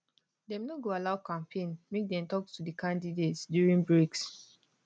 dem no go allow ccmpaign make dem tok to di candidates during breaks